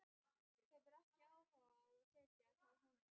Hefur ekki áhuga á að sitja hjá honum.